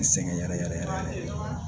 N sɛgɛn yɛrɛ yɛrɛ yɛrɛ